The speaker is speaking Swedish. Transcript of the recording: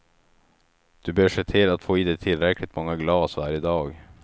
Du bör se till att få i dig tillräckligt många glas varje dag.